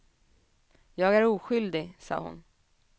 Jag är oskyldig, sade hon.